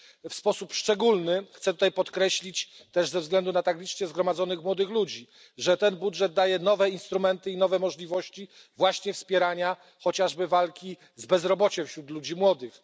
W sposób szczególny chcę tutaj podkreślić też ze względu na tak licznie zgromadzonych młodych ludzi że ten budżet daje nowe instrumenty i nowe możliwości właśnie wspierania chociażby walki z bezrobociem wśród ludzi młodych.